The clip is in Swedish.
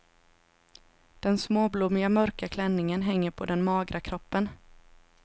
Den småblommiga mörka klänningen hänger på den magra kroppen.